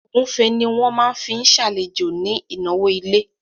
Ògúnfe ni wọ́n máa fi ṣàlejò ní ìnáwó ilé